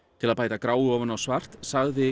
til að bæta gráu ofan á svart sagði